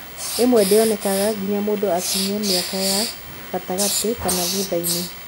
Ìmwe ndĩonekanaga nginya mũndũ akinyie mĩaka ya gatagatĩ kana thutha-inĩ.